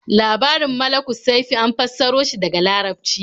Labarin Malukussaifi an fassaro shi daga Larabci.